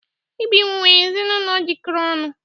Ibim nwere ezinụlọ jikọrọ ọnụ.